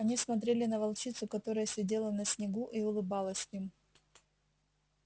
они смотрели на волчицу которая сидела на снегу и улыбалась им